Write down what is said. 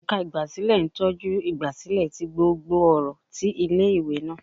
Ẹka igbasilẹ ntọju igbasilẹ ti gbógbó ọrọ tí ìlé-ìwé náá